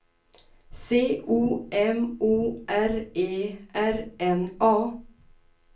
C O M O R E R N A